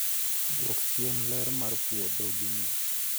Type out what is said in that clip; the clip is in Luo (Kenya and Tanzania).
Dwok chien ler mar puodho gi nus